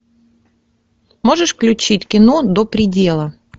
можешь включить кино до предела